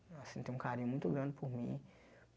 Ela sente um carinho muito grande por mim.